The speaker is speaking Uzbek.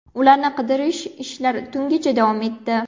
Ularni qidirish ishlari tungacha davom etdi.